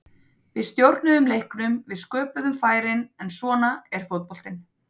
Við stjórnuðum leiknum, við sköpuðum færin, en svona er fótboltinn.